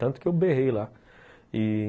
Tanto que eu berrei lá e